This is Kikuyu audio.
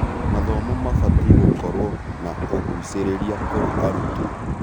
Mathomo mabatiĩ gũkorwo na ũgũcĩrĩria kũrĩ arutwo.